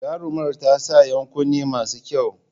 Jarumar ta sa ‘yan kunne masu kyau.